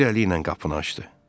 Bir əli ilə qapını açdı.